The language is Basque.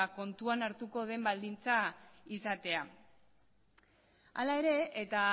kontuan hartuko den baldintza izatea hala ere eta